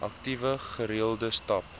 aktief gereelde stap